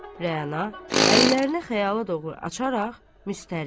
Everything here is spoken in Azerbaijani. Rəna, əllərini xəyala doğru açaraq müstərib.